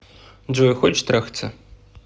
джой хочешь трахаться